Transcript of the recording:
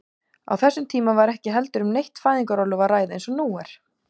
Á þessum tíma var ekki heldur um neitt fæðingarorlof að ræða eins og nú er.